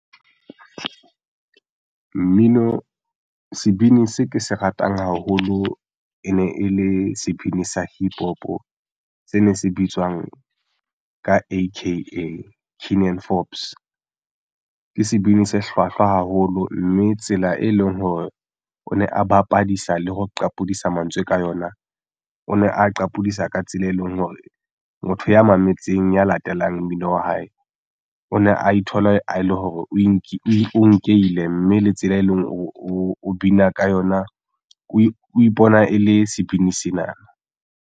Mmino sebini seo ke se ratang haholo e ne e le sebini sa Hip Hop se ne se bitswang ka AkA Keenan Forbes ke sebini se hlwahlwa haholo mme tsela e leng hore o ne a bapadisa le ho qapodisa mantswe ka yona o ne a qapodisa ka tsela e leng hore motho ya mametseng ya latelang mmino wa hae o ne a ithola a le hore o nkehille mme le tsela e leng o bina ka yona. O ipona e le sebini sena.